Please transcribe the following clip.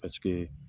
Paseke